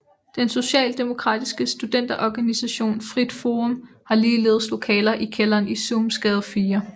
Den Socialdemokratiske studenterorganisation Frit Forum har ligeledes lokaler i kælderen i Suhmsgade 4